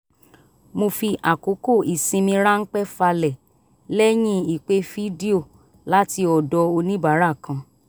mo fi àkókò ìsinmi ránpẹ́ falẹ̀ lẹ́yìn ìpè fídíò láti ọ̀dọ̀ oníbàárà kan